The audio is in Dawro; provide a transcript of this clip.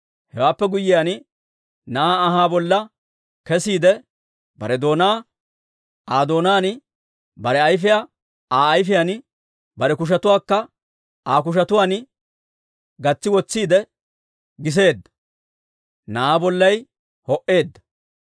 Hewaappe guyyiyaan, na'aa anhaa bolla kesiide, bare doonaa Aa doonaan, bare ayfiyaa Aa ayfiyaan, bare kushetuwaakka Aa kushetuwaan gatsi wotsiide giseedda. Na'aa bollay ho"eedda.